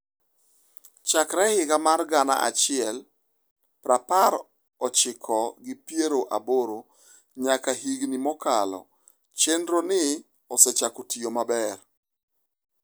Chakre higa mar gana achiel prapar ochiko gi piero aboro nyaka higni mokalo, chenro ni osechako tiyo maber.